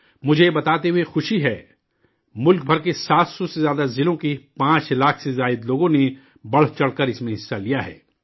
مجھے، یہ بتاتے ہوئے خوشی ہے، ملک بھر کے 700 سے زیادہ ضلعوں کے 5 لاکھ سے زیادہ لوگوں نے بڑھ چڑھ کر اس میں حصہ لیا ہے